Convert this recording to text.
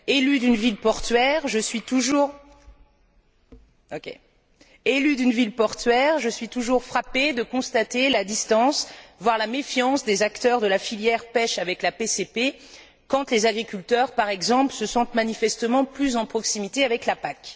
Élue d'une ville portuaire, je suis toujours frappée de constater la distance, voire la méfiance des acteurs de la filière pêche avec la PCP quand les agriculteurs, par exemple, se sentent manifestement plus en proximité avec la PAC.